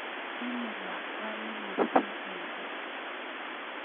chame lakwani musiki mising